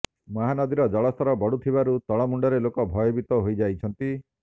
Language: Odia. ମହାନଦୀର ଜଳ ସ୍ତର ବଢ଼ୁଥିବାରୁ ତଳମୁଣ୍ଡରେ ଲୋକେ ଭୟଭୀତ ହୋଇଯାଇଛନ୍ତି